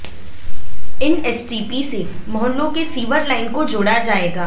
इन STP से मोहल्लों की सीवर लाइन को जोड़ा जाएगा्